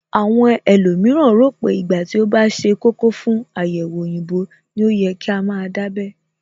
Àwọn ẹlòmíràn rò pé ìgbà tí ó bá ṣe kókó fún àyẹ̀wò òyìnbó ní ó yẹ ká máa dábẹ́